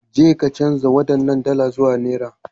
Jeka canza waɗannan dala zuwa naira.